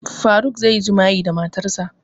Faruk zai yi jima'i da matarsa